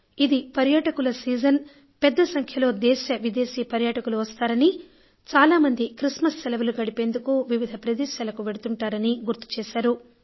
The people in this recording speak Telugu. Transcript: ఇది పర్యాటకుల సీజన్ పెద్ద సంఖ్యలో దేశ విదేశీ పర్యాటకులు వస్తారనీ చాలా మంది క్రిస్మస్ సెలవులు గడిపేందుకు వివిధ ప్రదేశాలకు వెడుతుంటారనీ గుర్తు చేశారు